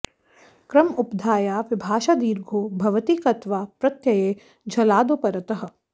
क्रम उपधाया विभाषा दिर्घो भवति क्त्वा प्रत्यये झलादौ परतः